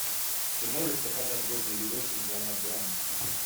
ты можешь показать годный видосик жанра драма